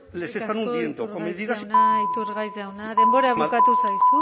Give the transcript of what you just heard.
eskerrik asko iturgaiz jauna iturgaiz jauna denbora bukatu zaizu